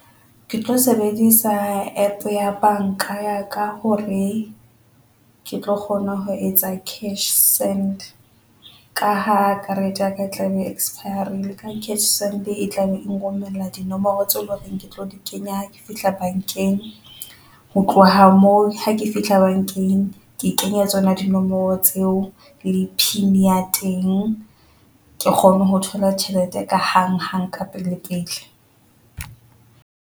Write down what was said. Ke tlo sebedisa APP ya banka ya ka hore ke tlo kgona ho etsa CashSend ka ha karete ya ka e tlabe expire-rile ka CashSend, e tla be nrommella dinomoro tse loreng Ke tlo di kenya fihla bankeng, ho tloha moo ha ke fihla bankeng, ke kenye tsona dinomoro tseo le pin ya teng ke kgone ho thola tjhelete ka hang-hang kapele-pele.